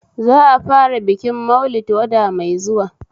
Za'a fara bikin Maulid wata mai zuwa